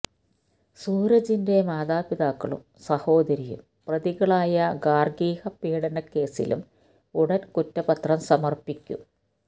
സൂരജിന്റെ മാതാപിതാക്കളും സഹോദരിയും പ്രതികളായ ഗാർഹിക പീഡനക്കേസിലും ഉടൻ കുറ്റപത്രം സമർപ്പിക്കും